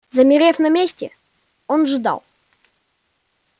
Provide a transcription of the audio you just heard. замерев на месте он ждал